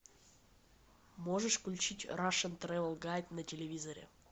можешь включить рашн трэвел гайд на телевизоре